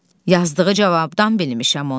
Yazdığı cavabdan bilmişəm onu.